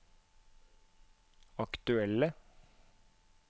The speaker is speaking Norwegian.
aktuelle